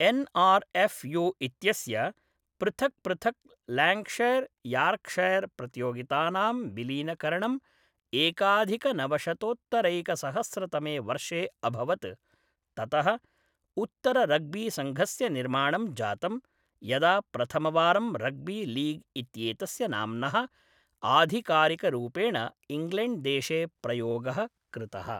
N R F U इत्यस्य पृथक्पृथक् Lancashire Yorkshire प्रतियोगितानां विलीनीकरणं एकाधिकनवशतोत्तरैकसहस्रतमे वर्षे अभवत्, ततः उत्तररग्बीसङ्घस्य निर्माणं जातम्, यदा प्रथमवारं रग्बीलीग् इत्येतस्य नाम्नः आधिकारिकरूपेण इङ्ग्लैण्ड्देशे प्रयोगः कृतः।